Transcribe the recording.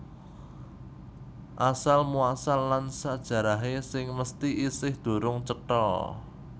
Asal muasal lan sajarahé sing mesthi isih durung cetha